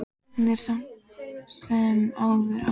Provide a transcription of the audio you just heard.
Hún er samt sem áður ágæt.